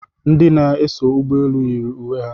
Ndị na-eso ụgbọelu yiri uwe ha